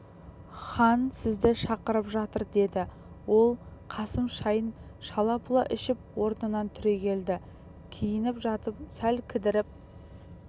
қасым жайшылықта пешпентінің сыртында жүретін көк құрыш сүңгі наркескенін шешіп пешпентінің ішінен тақты